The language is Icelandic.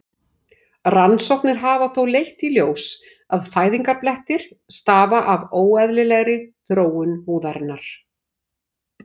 Rannsóknir hafa þó leitt í ljós að fæðingarblettir stafa af óeðlilegri þroskun húðarinnar.